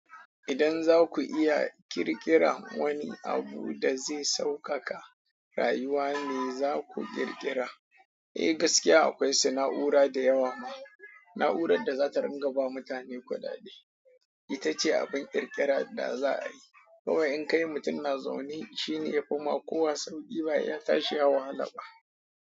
Idan za ku iya ƙirƙira wani abu da zai sauƙaƙa rayuwa me za ku ƙirƙira? Eh gaskiya akwai sana'ura da yawa ma. Na'urar da za ta rinka ba mutane kudade, ita ce abin ƙirƙira da za a yi. Kowa in kai mutum na zaune shine yafi ma kowa sauƙi ba ya tashi ya wahala ba.